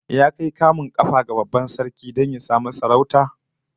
Ya kai kamun kafa ga babban dan sarki don ya samu sarauta?